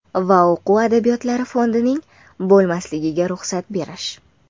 va o‘quv adabiyotlari fondining bo‘lmasligiga ruxsat berish.